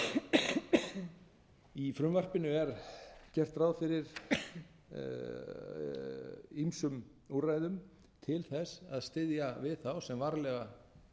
rekja að í frumvarpinu er gert ráð fyrir ýmsum úrræðum til þess að styðja við þá sem varlega